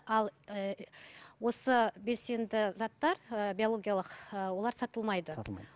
ал ііі осы белсенді заттар ыыы биологиялық ыыы олар сатылмайды сатылмайды